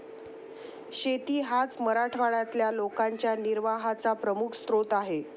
शेती हाच मराठवाड्यातल्या लोकांच्या निर्वाहाचा प्रमुख स्रोत आहे.